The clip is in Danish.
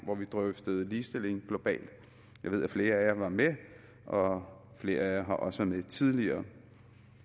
hvor vi drøftede ligestilling globalt jeg ved at flere af jer var med og flere af jer har også været med tidligere